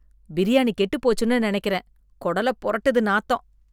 பிரியாணி கெட்டு போச்சுன்னு நெனைக்கிறேன், கொடலப் பொரட்டுது நாத்தம்.